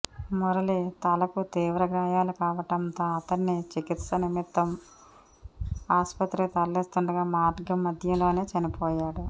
మురళి తలకు తీవ్రగాయాలుకావడంతో అతడ్ని చికిత్స నిమిత్తం ఆస్పత్రికి తరలిస్తుండగా మార్గం మధ్యలోనే చనిపోయాడు